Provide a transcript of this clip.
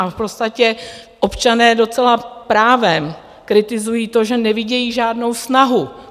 A v podstatě občané docela právem kritizují to, že nevidí žádnou snahu.